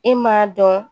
E m'a dɔn